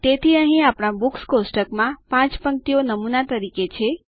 તેથી અહીં આપણા બુક્સ કોષ્ટક માં 5 પંક્તિઓ નમૂના તરીકે છે